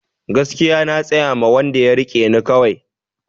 Gaskiya na tsayama wanda ya rike ne kawai